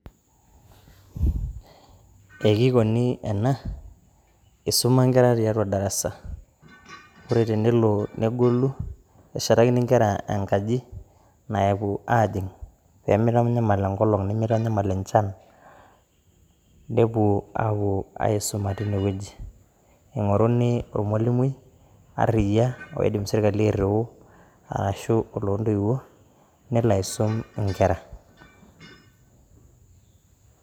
Ekikioni ena ,eisoma inkera tiatua ildarasa, ore tenelo negolu eshetakini inkera enkaji naapo aajing' peemeitanyaal enkolong nemeitanyamal inchan, nepo aaku aisoma teine weji, eing'oruni ormwaluni aarriya oidim serikali airuu asho ol lentoiwo nelo aisom inkera.